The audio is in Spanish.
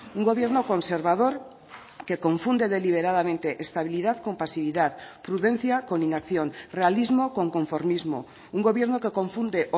un gobierno conservador que confunde deliberadamente estabilidad con pasividad prudencia con inacción realismo con conformismo un gobierno que confunde